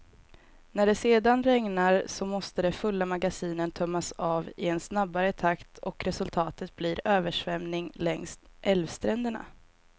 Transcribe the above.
När det sedan regnar, så måste de fulla magasinen tömmas av i en snabbare takt och resultatet blir översvämning längs älvstränderna.